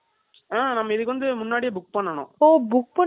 ஓ book பண்ணிட்டு எதுல எப்படி அங்க direct அ போய் தான் book